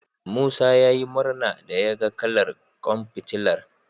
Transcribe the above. Musa ya yi murna da yaga kalar ƙwan fitilar.